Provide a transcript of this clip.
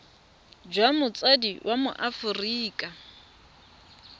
jwa motsadi wa mo aforika